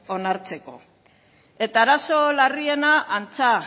onartzeko eta arazo larriena antza